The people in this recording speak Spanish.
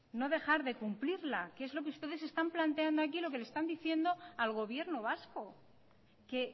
no dejar de cumplirla que es lo que ustedes están planteando aquí y lo que le están diciendo al gobierno vasco que